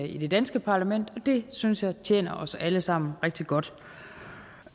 i det danske parlament og det synes jeg tjener os alle sammen rigtig godt